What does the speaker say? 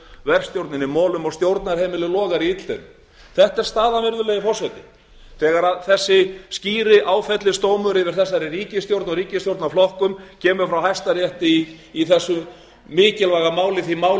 verkstjórnin í molum og stjórnarheimilið logar í illdeilum þetta er staðan virðulegi forseti þegar þessi skýri áfellisdómur yfir þessari ríkisstjórn og ríkisstjórnarflokkur kemur frá hæstarétti í þessu mikilvæga máli því máli